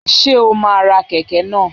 Ṣé o máa ra kẹ̀kẹ́ náà?